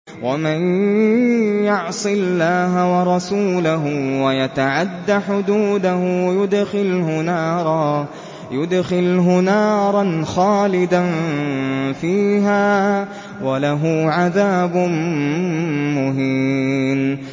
وَمَن يَعْصِ اللَّهَ وَرَسُولَهُ وَيَتَعَدَّ حُدُودَهُ يُدْخِلْهُ نَارًا خَالِدًا فِيهَا وَلَهُ عَذَابٌ مُّهِينٌ